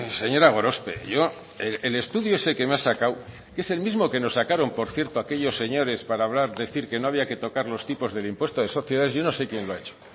señora gorospe yo el estudio ese que me ha sacado es el mismo que nos sacaron por cierto aquellos señores para decir que no había que tocar los tipos del impuesto de sociedades yo no sé quién lo ha hecho